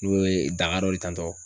Nin ŋun ye daga dɔ de tantɔ